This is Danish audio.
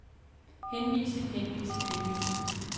henvise henvise henvise